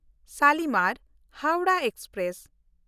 ᱥᱟᱞᱤᱢᱟᱨ (ᱦᱟᱣᱲᱟᱦ) ᱮᱠᱥᱯᱨᱮᱥ